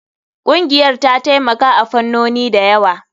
Ƙungiyar ta taimaka a fannoni da yawa.